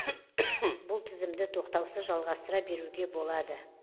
бұл тізімді тоқтаусыз жалғастыра беруге болады